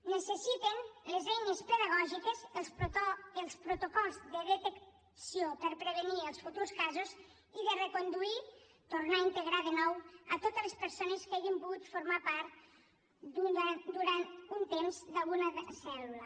necessiten les eines pedagògiques els protocols de detecció per prevenir els futurs casos i de reconduir tornar a integrar de nou a totes les persones que hagin pogut formar part durant un temps d’alguna cèl·lula